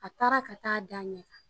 A taara ka t'a da a ɲɛn kan.